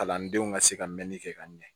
Kalandenw ka se ka mɛnli kɛ ka ɲɛ